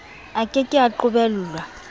a ke ke a qobellwa